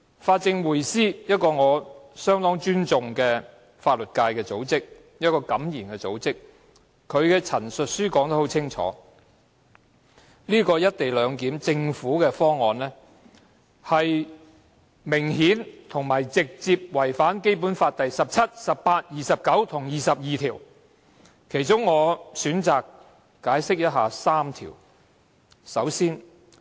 法政匯思是一個我非常尊重、敢言的法律界組織，該組織在其陳述書中很清楚指出，政府提出的"一地兩檢"方案明顯並直接違反《基本法》第十七條、第十八條、第二十二條及第二十九條，我選擇就其中3條作出闡釋。